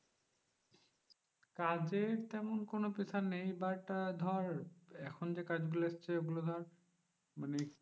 কাজের তেমন কোনো pressure নেই but আহ ধর এখন যে কাজগুলো এসেছে ওগুলো ধর মানে